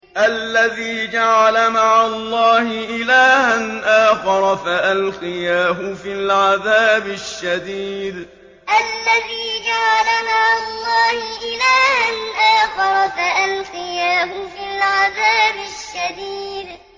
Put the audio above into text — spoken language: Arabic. الَّذِي جَعَلَ مَعَ اللَّهِ إِلَٰهًا آخَرَ فَأَلْقِيَاهُ فِي الْعَذَابِ الشَّدِيدِ الَّذِي جَعَلَ مَعَ اللَّهِ إِلَٰهًا آخَرَ فَأَلْقِيَاهُ فِي الْعَذَابِ الشَّدِيدِ